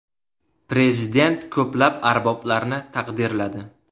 Prezident ko‘plab arboblarni taqdirladi.